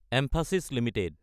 ম্ফাচিছ Ltd